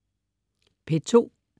P2: